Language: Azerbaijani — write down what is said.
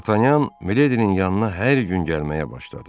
Dartanyan Miledinin yanına hər gün gəlməyə başladı.